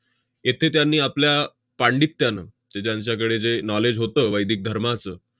येथे त्यांनी आपल्या पांडित्यानं ते त्यांच्याकडे जे knowledge होतं वैदिक धर्माचं,